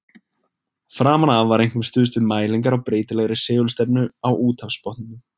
Framan af var einkum stuðst við mælingar á breytilegri segulstefnu á úthafsbotninum.